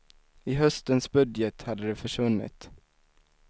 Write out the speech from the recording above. I höstens budget hade de försvunnit.